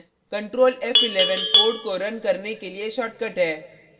control f11 code को run करने के लिए shortcut है